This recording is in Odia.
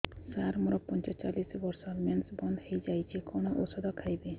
ସାର ମୋର ପଞ୍ଚଚାଳିଶି ବର୍ଷ ମେନ୍ସେସ ବନ୍ଦ ହେଇଯାଇଛି କଣ ଓଷଦ ଖାଇବି